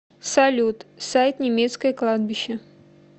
салют сайт немецкое кладбище